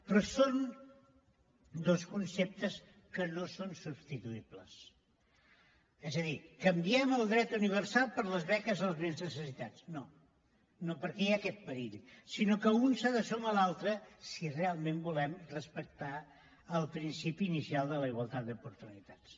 però són dos conceptes que no són substituïbles és a dir canviem el dret universal per les beques als més necessitats no perquè hi ha aquest perill sinó que un s’ha de sumar a l’altre si realment volem respectar el principi inicial de la igualtat d’oportunitats